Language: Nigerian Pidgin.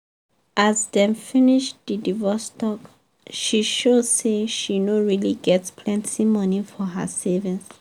as dem finish the divorce talk she show say she no really get plenty money for her savings.